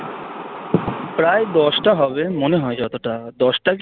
প্রায় দশটা হবে মনেহয় যতটা দশটা কি